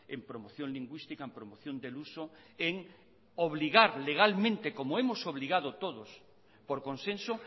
en promoción lingüística en promoción del uso en obligar legalmente como hemos obligado todos por consenso